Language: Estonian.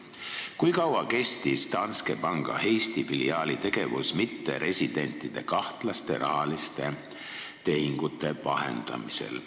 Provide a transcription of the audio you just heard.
Kui kaua kestis Danske Banki Eesti filiaali tegevus mitteresidentide kahtlaste rahaliste tehingute vahendamisel?